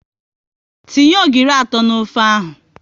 Tinye ogiri atọ n'ofe ahụ!